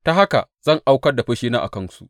Ta haka zan aukar da fushina a kansu.